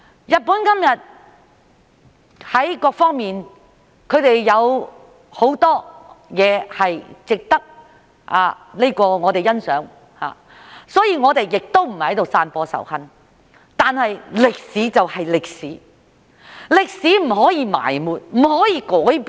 日本今天在各方面，有很多都值得我們欣賞，所以我們並非在散播仇恨，但歷史就是歷史，歷史不可以埋沒、不可以改變。